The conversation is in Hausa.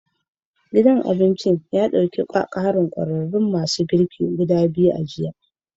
Gidan abincin ya dauki karin Chef guda biyu a jiya